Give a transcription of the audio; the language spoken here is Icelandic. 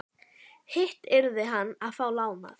Hitt yrði hann að fá lánað.